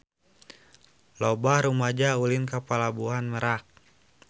Loba rumaja ulin ka Pelabuhan Merak